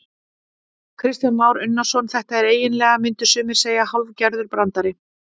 Kristján Már Unnarsson: Þetta er eiginlega, myndu sumir segja hálfgerður brandari?